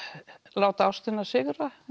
láta ástina sigra